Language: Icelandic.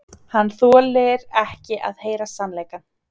Hann þolir ekki að heyra sannleikann.